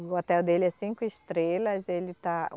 O hotel dele é cinco estrelas. Ele está